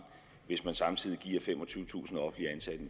hvis man samtidig giver femogtyvetusind offentligt ansatte